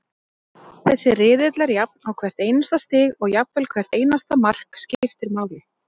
Þessi riðill er jafn og hvert einasta stig og jafnvel hvert einasta mark, skiptir máli.